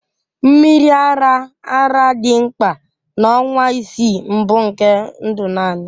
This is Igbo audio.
Mmiri ara ara dị mkpa na ọnwa isii mbụ nke ndụ naanị